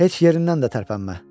Heç yerindən də tərpənmə.